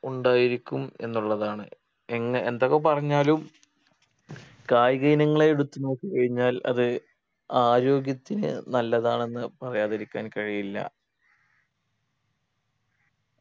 ഉണ്ടായിരിക്കും എന്നുള്ളതാണ് എങ്ങ എന്തൊക്കെ പറഞ്ഞാലും കായിക ഇനങ്ങളെ എടുത്തു നോക്കി കഴിഞ്ഞാൽ അത് ആരോഗ്യത്തിന്‌ നല്ലതാണെന്ന് പറയാതിരിക്കാൻ കഴിയില്ല